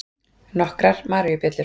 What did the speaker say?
Nokkrar maríubjöllur.